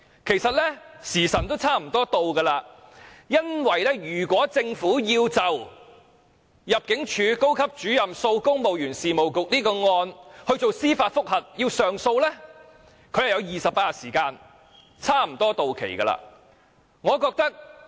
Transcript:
其實時辰差不多到了，如果政府要就高級入境事務主任訴公務員事務局一案提出上訴 ，28 天的上訴限期差不多到了。